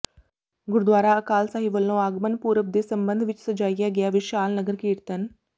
ਗੁਰਦੁਆਰਾ ਅਕਾਲ ਸਾਹਿਬ ਵੱਲੋਂ ਆਗਮਨ ਪੁਰਬ ਦੇ ਸਬੰਧ ਵਿੱਚ ਸਜਾਇਆ ਗਿਆ ਵਿਸ਼ਾਲ ਨਗਰ ਕੀਰਤਨ